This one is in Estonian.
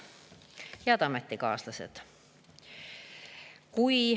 Head ametikaaslased!